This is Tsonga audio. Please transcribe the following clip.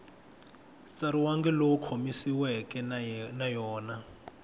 tsariwangi lowu khomanisiweke na yona